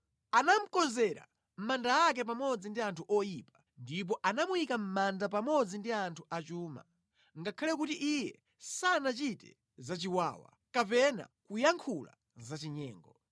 Anamukonzera manda ake pamodzi ndi anthu oyipa ndipo anamuyika mʼmanda pamodzi ndi anthu achuma, ngakhale kuti iye sanachite za chiwawa, kapena kuyankhula za chinyengo.